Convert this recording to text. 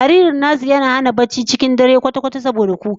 Jaririn nasu ya hana su barci cikin dare kwata-kwata saboda kuka